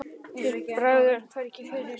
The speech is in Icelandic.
Þér bregður hvergi fyrir.